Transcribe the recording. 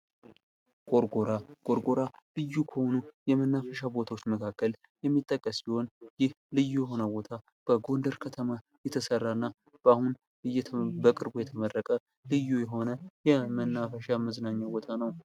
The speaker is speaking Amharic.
ጎርጎራ ጎርጎራ፦ ልዩ ከሆነ የመናፈሻ ቦታዎች መካከል የሚጠቅስ ሲሆን ይህ ልዩ የሆነ ቦታ በጎንደር ከተማ የተሰራ እና በአሁን በቅርቡ የተመረቀ ልዩ የሆነ የመናፈሻ መዝናኛ ቦታ ነው።